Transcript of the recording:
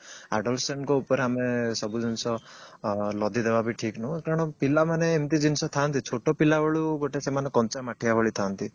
ଉପରେ ସବୁ ଜିନିଷ ଲଦିଦବା ବି ଠିକ ନୁହଁ କାରଣ ପିଲାମାନେ ଏମିତି ଜିନିଷ ଥାଆନ୍ତି ଛୋଟ ପିଲାବେଳୁ ସେମାନେ ଗୋଟେ କଞ୍ଚା ମାଠିଆ ଭଳି ଥାଆନ୍ତି